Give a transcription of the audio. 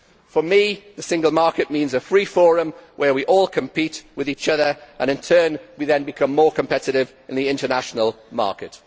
For me, the single market means a free forum where we all compete with each other and, in turn, we then become more competitive in the international market.